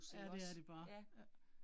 Ja, det er det bare, ja